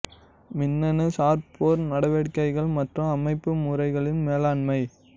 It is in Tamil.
மின்னணு சார் போர் நடவடிக்கைகள் மற்றும் அமைப்பு முறைகளின் மேலாண்மை